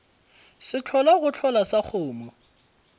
sehlola go hlola sa kgomo